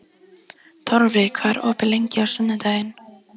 Torfi, hvað er opið lengi á sunnudaginn?